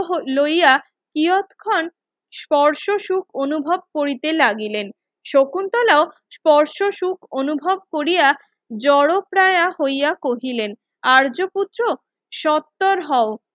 লইয়া ইয়াৎখন স্পর্শ সুখ অনুভব করিতে লাগিলেন শকুন্তলাও স্পর্শসুখ অনুভব কোরিয়া জোরপ্রায়া হইয়া কহিলেন আর্য পুত্র সত্তর হও